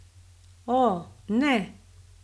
O, ne.